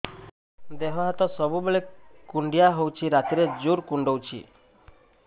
ଦେହ ହାତ ସବୁବେଳେ କୁଣ୍ଡିଆ ହଉଚି ରାତିରେ ଜୁର୍ କୁଣ୍ଡଉଚି